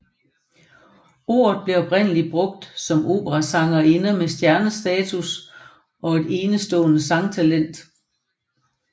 Ordet blev oprindeligt brugt om operasangerinder med stjernestatus og et enestående sangtalent